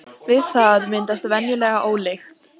Við það myndast venjulega ólykt.